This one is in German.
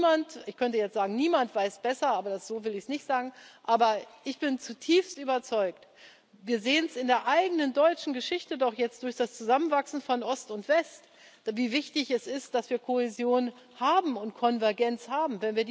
Niemand ich könnte jetzt sagen, niemand weiß besser, aber so will ich es nicht sagen aber ich bin zutiefst überzeugt, und wir sehen es in der eigenen deutschen Geschichte doch jetzt durch das Zusammenwachsen von Ost und West, wie wichtig es ist, dass wir Kohäsion und Konvergenz haben.